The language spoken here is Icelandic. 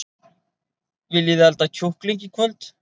Viljiði elda kjúkling í kvöld?